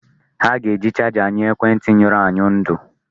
Ha ga-eji charger nye ekwentị nyụrụ anyụ ndụ.